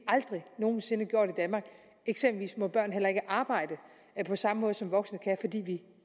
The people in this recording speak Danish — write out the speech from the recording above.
aldrig nogen sinde gjort i danmark eksempelvis må børn heller ikke arbejde på samme måde som voksne kan fordi vi